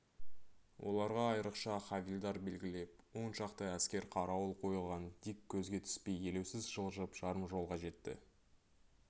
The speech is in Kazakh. оларға айрықша хавильдар белгілеп оншақты әскер қарауыл қойылған дик көзге түспей елеусіз жылжып жарым жолға жетті